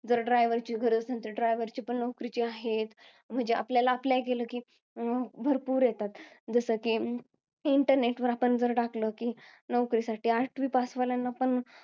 जर driver ची गरज असेल, तर driver ची पण नोकरी आहे. म्हणजे आपल्याला apply केलं कि, भरपूर येतात. जसं कि, internet वर आपण टाकलं कि, नोकरीसाठी आठवी pass वाल्यांना पण